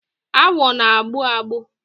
Agwọ na-agbụ agbụ.